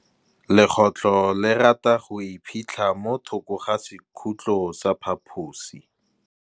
Legôtlô le rata go iphitlha mo thokô ga sekhutlo sa phaposi.